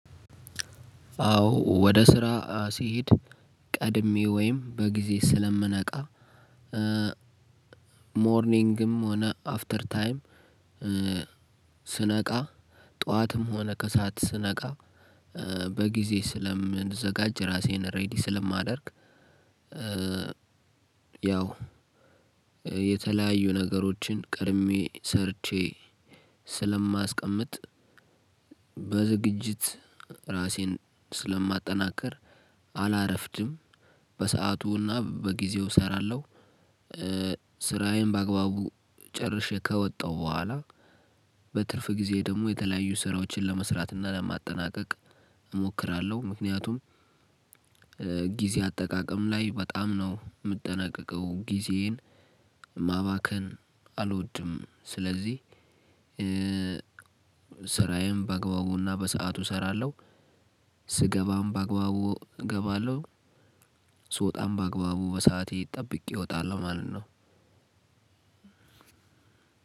አዎ ወደ ስራ ሲሄድ ቀድሜ ወይም በጊዜ ስለምነቃ ሞርኒንግም ሆነ አፍተር ታይም ስነቃ ጠዋትም ሆነ ከሰአት ስነቃ በጊዜ ስለምዘጋጅ ራሴን ሬዲ ስለማደርግ። ያው የተለያዩ ነገሮችን ቀድሜ ሰርቼ ስለማስቀምጥ በዝግጅት ራሴን ስለማጠናከር አላረፍድም በሰአቱና በጊዜው ሰራለሁ። ስራዬን በአግባቡ ጨርሼ ከወጣሁ በኋላ በትርፍ ጊዜ ደሞ የተለያዩ ስራዎችን ለመስራት እና ለማጠናቀቅ እሞክራለሁ። ምክንያቱም ጊዜ አጠቃቀም ላይ በጣም ነው ምጠነቀቀው ጊዜዬን ማባከን አልወድም። ስለዚህ ስራዬን በአግባቡና በሰአቱ ሰራለሁ። ስገባም በአግባቡ ገባለው ስወጣም በአግባቡ በሰአቴ ጠብቄ ወጣለው ማለት ነው።